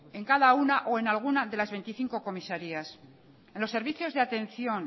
en cada una o en alguna de las veinticinco comisarías en los servicios de atención